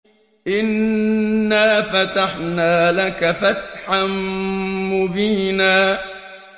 إِنَّا فَتَحْنَا لَكَ فَتْحًا مُّبِينًا